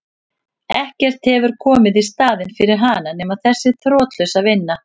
Ekkert hefur komið í staðinn fyrir hana nema þessi þrotlausa vinna.